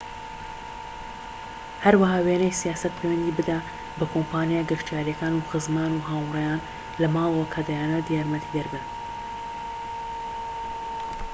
هەروەها وێنەی سیاسەت/پەیوەندی بدە بە کۆمپانیا گەشتیاریەکان و خزمان و هاوڕێیان لە ماڵەوە کە دەیانەوێت یارمەتیدەر بن